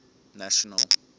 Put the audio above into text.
national